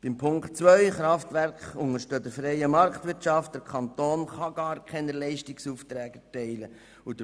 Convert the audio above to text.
Zu Ziffer 2: Kraftwerke unterstehen der freien Marktwirtschaft, sodass der Kanton gar keine Leistungsaufträge erteilen kann.